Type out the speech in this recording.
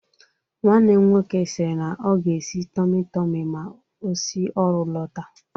Nwanne m nwoke sịrị na ọ ga-esi tọmị tọmị ma o si ọrụ lọta